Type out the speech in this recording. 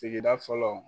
Sigida fɔlɔ